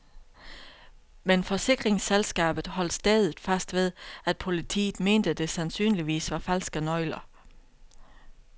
Men forsikringsselskabet holdt stædigt fast ved, at politiet mente det sandsynligvis var falske nøgler.